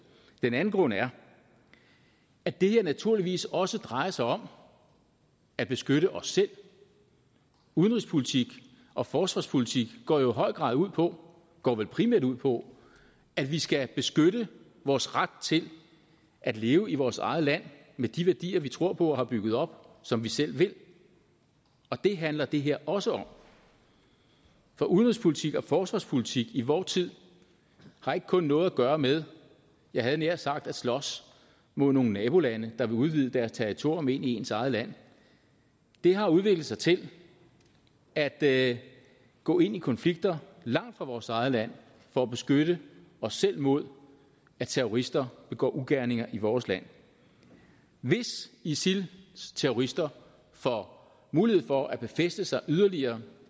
den anden grund er at det her naturligvis også drejer sig om at beskytte os selv udenrigspolitik og forsvarspolitik går jo i høj grad ud på og går vel primært ud på at vi skal beskytte vores ret til at leve i vores eget land med de værdier vi tror på og har bygget op som vi selv vil og det handler det her også om for udenrigspolitik og forsvarspolitik i vor tid har ikke kun noget at gøre med jeg havde nær sagt at slås mod nogle nabolande der vil udvide deres territorium ind i ens eget land det har udviklet sig til at at gå ind i konflikter langt fra vores eget land for at beskytte os selv mod at terrorister begår ugerninger i vores land hvis isils terrorister får mulighed for at befæste sig yderligere